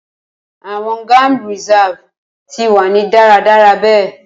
Awọn gam reserve ti wa ni daradara be